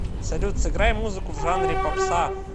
салют сыграй музыку в жанре попса